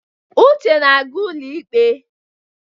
Uche na-aga ụlọikpe.